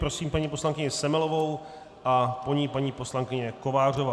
Prosím paní poslankyni Semelovou a po ní paní poslankyně Kovářová.